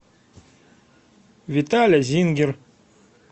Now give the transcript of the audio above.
виталя зингер